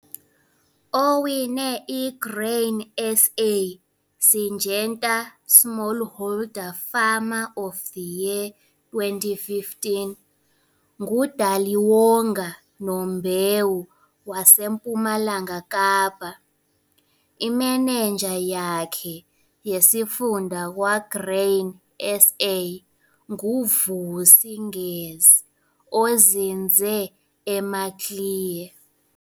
Owine iGrain SA - Syngenta Smallholder Farmer of the Year, 2015 nguDaliwonga Nombewu waseMpumalanga Kapa. Imenenja yakhe yesifunda kwaGrain SA nguVusi Ngesi ozinze eMaclear.